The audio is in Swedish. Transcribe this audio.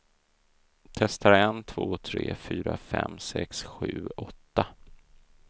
Testar en två tre fyra fem sex sju åtta.